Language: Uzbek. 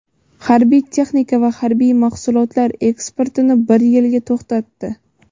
harbiy texnika va harbiy mahsulotlar eksportini bir yilga to‘xtatdi.